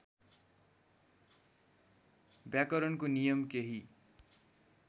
व्याकरणको नियम केही